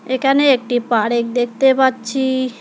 এখানে একটি পারেক দেখতে পাচ্ছি।